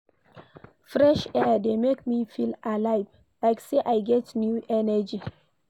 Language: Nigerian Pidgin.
Fresh air dey make me feel alive, like sey I get new energy